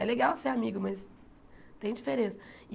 É legal ser amiga, mas tem diferença.